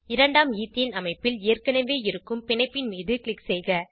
இரண்டாம் ஈத்தேன் அமைப்பில் ஏற்கனவே இருக்கும் பிணைப்பின் மீது க்ளிக் செய்க